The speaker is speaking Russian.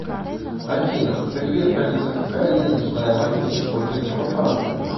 афина привет алиса какая денежная валюта используется во франции